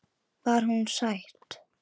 Var hún sæt?